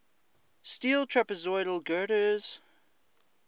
steel trapezoidal girders